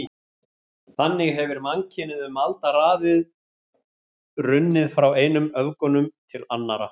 Þannig hefir mannkynið um aldaraðir runnið frá einum öfgunum til annara.